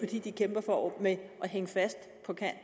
de kæmper for at hænge fast